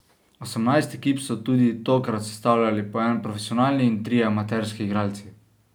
Osemnajst ekip so tudi tokrat sestavljali po en profesionalni in trije amaterski igralci.